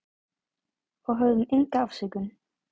Og höfðum enga afsökun.